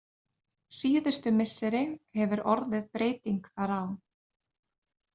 Síðustu misseri hefur orðið breyting þar á.